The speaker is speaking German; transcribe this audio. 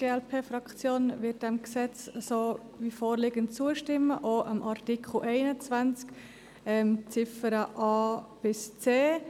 Die glp-Fraktion wird diesem Gesetz wie vorliegend zustimmen, auch dem Artikel 21 mit den Ziffern a bis c.